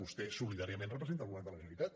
vostè solidàriament representa el govern de la generalitat